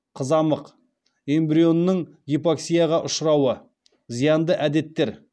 қызамық эмбрионның гипоксияға ұшырауы зиянды әдеттер